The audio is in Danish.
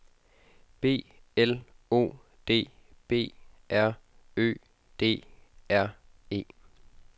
B L O D B R Ø D R E